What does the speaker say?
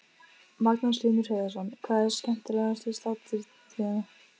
Magnús Hlynur Hreiðarsson: Hvað er skemmtilegast við sláturtíðina?